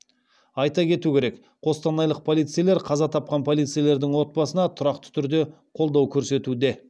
айта кету керек қостанайлық полицейлер қаза тапқан полицейлердің отбасына тұрақты түрде қолдау көрсетуде